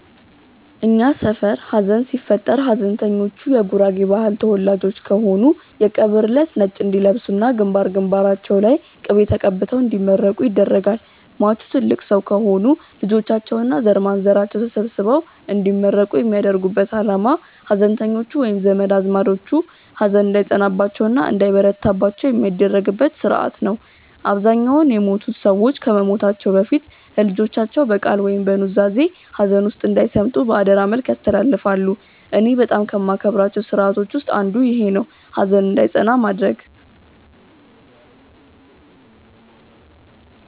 እኛ ሰፈር ሀዘን ሲፈጠር ሀዘንተኞቹ የጉራጌ ባህል ተወላጆች ከሆኑ የቀብር እለት ነጭ እንዲለብሱ እና ግንባር ግንባራቸው ላይ ቅቤ ተቀብተው እንዲመረቁ ይደረጋል። ሟቹ ትልቅ ሰው ከሆኑ ልጆቻቸው እና ዘርማንዘራቸው ተሰብስበው እንዲመረቁ የሚያደርጉበት አላማ ሀዘንተኞቹ ወይም ዘመድ አዝማዶቹ ሀዘን እንዳይጸናባቸው እና እንዳይበረታባቸው የሚደረግበት ስርአት ነው። አብዛኛውን የሞቱት ሰዎች ከመሞታቸው በፊት ለልጆቻቸው በቃል ወይም በኑዛዜ ሀዘን ውስጥ እንዳይሰምጡ በአደራ መልክ ያስተላልፋሉ። እኔ በጣም ከማከብራቸው ስርአቶች ውስጥ አንዱ ይኼ ነው፣ ሀዘን እንዳይጸና ማድረግ።